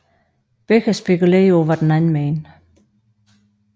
Begge spekulerede på hvad den anden mente